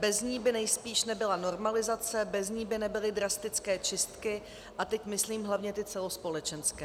Bez ní by nejspíš nebyla normalizace, bez ní by nebyly drastické čistky, a teď myslím hlavně ty celospolečenské.